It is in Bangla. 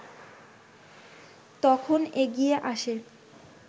তখন এগিয়ে আসে